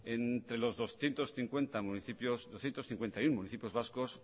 entre los doscientos cincuenta y uno municipios vascos